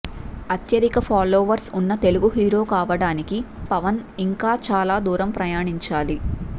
అత్యధిక ఫాలోవర్స్ ఉన్న తెలుగు హీరో కావడానికి పవన్ ఇంకా చాలా దూరం ప్రయాణించాలి